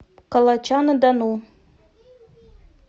калача на дону